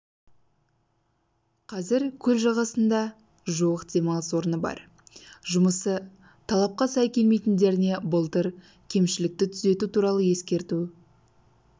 қазір көл жағасында жуық демалыс орны бар жұмысы талапқа сай келмейтіндеріне былтыр кемшілікті түзету туралы ескерту